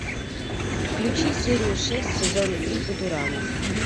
включи серию шесть сезона три футурама